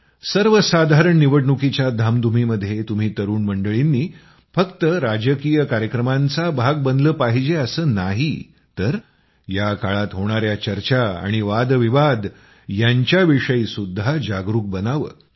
सर्वसाधारण निवडणुकीच्या धामधुमीमध्ये तुम्ही तरूण मंडळींनी फक्त राजकीय कार्यक्रमांचा भाग बनलं पाहिजे असं नाही तर या काळात होणाया चर्चा आणि वादविवाद यांच्याविषयीही जागरूक बनावं